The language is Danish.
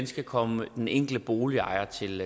skal komme den enkelte boligejer til